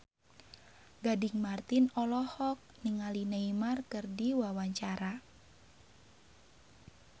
Gading Marten olohok ningali Neymar keur diwawancara